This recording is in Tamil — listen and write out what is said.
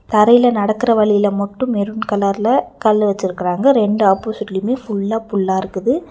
தரையில நடக்கற வழியில மட்டும் மெரூன் கலர்ல கல்லு வெச்சிருக்கராங்க ரெண்டு ஆப்போசிட்லூமே ஃபுல்லா புல்லா இருக்குது.